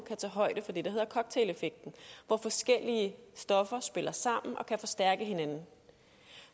kan tage højde for det der hedder cocktaileffekten hvor forskellige stoffer spiller sammen og kan forstærke hinanden